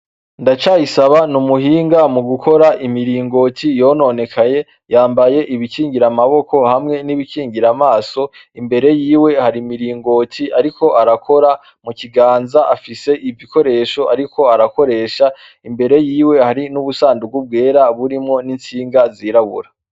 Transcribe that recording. Ndacayisaba n'umuhinga mu gukora imiringoti yononekaye yambaye ibikingira amaboko hamwe n'ibikingira amaso imbere yiwe hari imiringoti, ariko arakora mu kiganza afise ivikoresho, ariko arakoresha imbere yiwe hari n'ubusandugu bwera burimwo n'insinga zirabura.